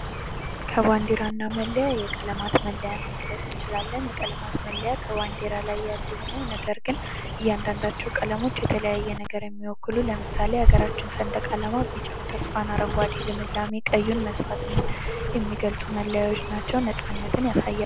ከባንዲራና መለያ የቀለማት መለያ መግለጽ እንችላለን የቀለማት መለያ ከባንዲራ ላይ ያሉ ሁነው ነገር ግን እያንዳንዳቸው ቀለሞች የተለያየ አይነት ነገር የሚወክሉ ለምሳሌ የሀገራችን ሰንደቅ ዓላማ ቢጫ ተስፋን ፣ አረንጓዴ ልምላሜን ፣ ቀዩ መስዋዕትነትን የሚገልፁ መለየት ናቸው ። ነጻነትን ያሳያል ።